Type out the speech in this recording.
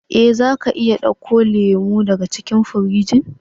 Eh, za ka iya dauko lemu daga cikin firijin.